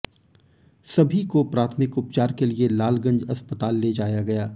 सभी को प्राथमिक उपचार के लिए लालगंज अस्पताल ले जाया गया